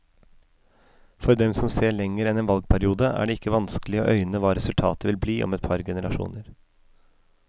For dem som ser lenger enn en valgperiode, er det ikke vanskelig å øyne hva resultatet vil bli om et par generasjoner.